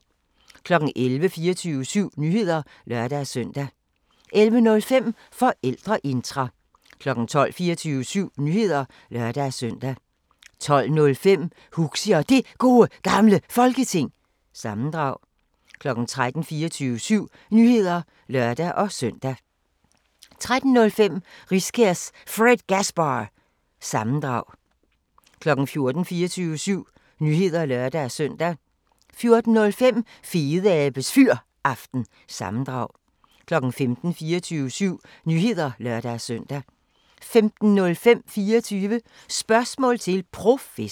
11:00: 24syv Nyheder (lør-søn) 11:05: Forældreintra 12:00: 24syv Nyheder (lør-søn) 12:05: Huxi og Det Gode Gamle Folketing – sammendrag 13:00: 24syv Nyheder (lør-søn) 13:05: Riskærs Fredgasbar- sammendrag 14:00: 24syv Nyheder (lør-søn) 14:05: Fedeabes Fyraften – sammendrag 15:00: 24syv Nyheder (lør-søn) 15:05: 24 Spørgsmål til Professoren